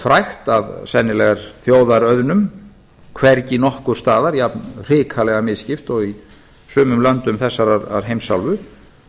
frægt að sennilega er þjóðarauðnum hvergi nokkurs staðar jafnhrikalega misskipt og í sumum löndum þessarar heimsálfu